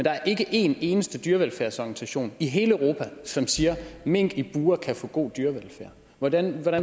er ikke en eneste dyrevelfærdsorganisation i hele europa som siger mink i bure kan få god dyrevelfærd hvordan